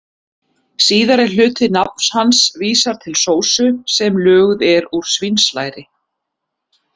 Síðari hluti nafns hans vísar til sósu sem löguð er úr svínslæri.